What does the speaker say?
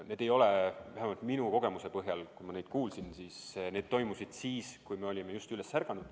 Neid helisid kuulsime siis, kui me olime just üles ärganud.